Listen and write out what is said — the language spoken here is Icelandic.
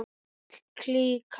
Öll klíkan.